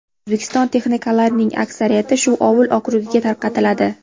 O‘zbekiston texnikalarining aksariyati shu ovul okrugiga tarqatiladi.